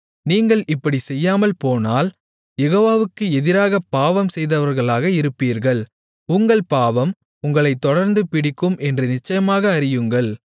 நீங்கள் இப்படிச் செய்யாமல்போனால் யெகோவாவுக்கு எதிராகப் பாவம் செய்தவர்களாக இருப்பீர்கள் உங்கள் பாவம் உங்களைத் தொடர்ந்து பிடிக்கும் என்று நிச்சயமாக அறியுங்கள்